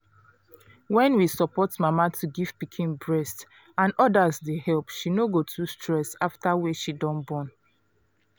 when we support mama to give pikin breast and others dey help she no go too stress after wey she don born